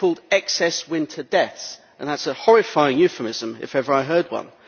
They are called excess winter deaths, and that is a horrifying euphemism if ever I heard one.